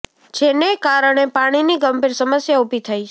જેને કારણે પાણીની ગંભીર સમસ્યા ઊભી થાય છે